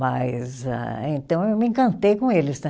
Mas ah, então, eu me encantei com eles, né?